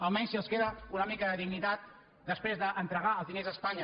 almenys si els queda una mica de dignitat després d’entregar els diners a espanya